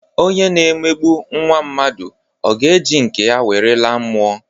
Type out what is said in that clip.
Onye na-emegbu nwa mmadu ọ ga-eji nke ya were laa mmụọ?